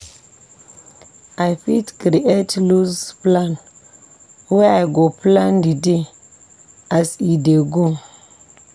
I fit create loose plan wey I go plan di day as e dey go.